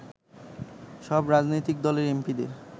সব রাজনৈতিক দলের এমপি’দের